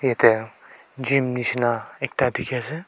yate gym nisna ekta dekhi ase.